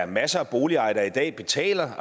masser af boligejere der altså i dag betaler